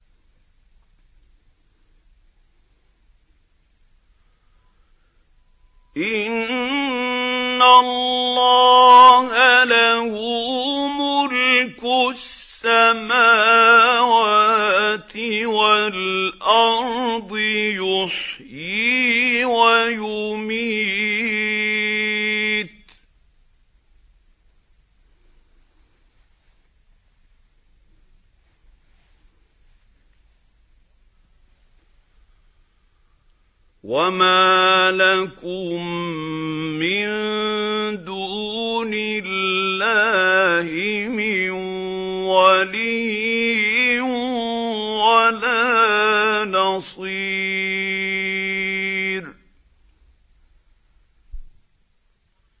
إِنَّ اللَّهَ لَهُ مُلْكُ السَّمَاوَاتِ وَالْأَرْضِ ۖ يُحْيِي وَيُمِيتُ ۚ وَمَا لَكُم مِّن دُونِ اللَّهِ مِن وَلِيٍّ وَلَا نَصِيرٍ